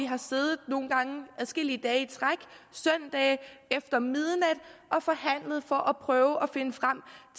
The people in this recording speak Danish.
har siddet adskillige dage i træk søndage efter midnat og forhandlet for at prøve at finde frem